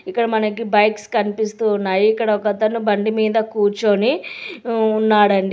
ఇక్కడ మనకి బైక్స్ కనిపిస్తూ ఉన్నాయి ఇక్కడ ఒక అతను బండి మీద కూర్చొని ఊ ఉన్నాడండి.